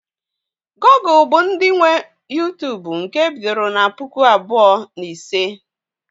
Google bụ ndị nwe Uytubu nke e bidoro na puku abụọ na ise